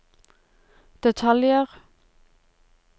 detaljer